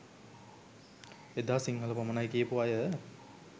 එදා සිංහල පමණයි කියපු අය